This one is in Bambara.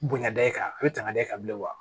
Bonya da i kan a bɛ tangali kan bilen wa